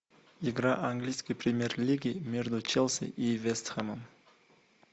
игра английской премьер лиги между челси и вест хэмом